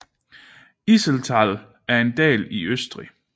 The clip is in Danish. Iseltal er en dal i Østrig